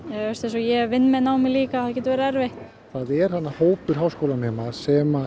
ég vinn með námi líka það getur verið erfitt það er hópur háskólanema sem